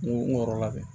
N ko n kɔrɔla bi